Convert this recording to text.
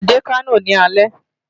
Màá dé Kano ní alẹ́.